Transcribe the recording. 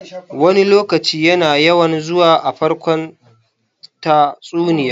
"Wani lokaci" yana yawan zuwa a farkon tatsuniya.